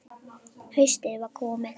Haustið var komið.